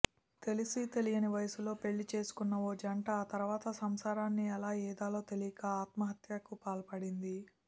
తెలిసి తెలియని వయసులో పెళ్లి చేసుకున్న ఓ జంట ఆ తర్వాత సంసారాన్ని ఎలా ఈదాలో తెలియక ఆత్మహత్యకు పాల్పడింది